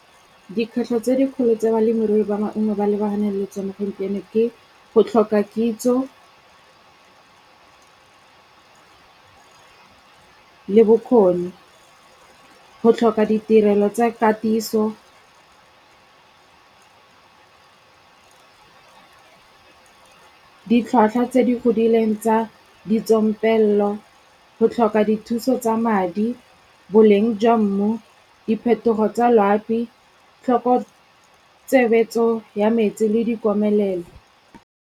Dikgwetlho tse dikgolo tse balemirui ba maungo ba lebagane le tsona gompieno ke, go tlhoka kitso le bokgoni. Go tlhoka ditirelo tsa katiso , ditlhwatlhwa tse di godileng tsa ditsompello, go tlhoka dithuso tsa madi boleng jwa mmu, diphetogo tsa loapi, tlhokotshebesetso ya metsi le dikomelelo.